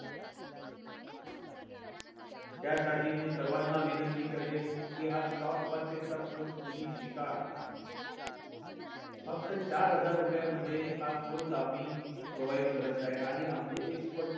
त्यासाठी मी सर्वाना विनंती करेन कि हा stock market course तुम्ही शिका फक्त चार हजार रुपया मध्ये हा course आम्ही provide करत आहे आणि आमचे expert